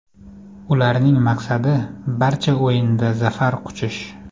Ularning maqsadi barcha o‘yinda zafar quchish.